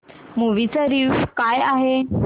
movie चा review काय आहे